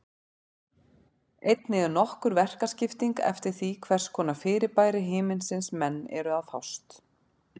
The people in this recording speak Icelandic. Einnig er nokkur verkaskipting eftir því við hvers konar fyrirbæri himinsins menn eru að fást.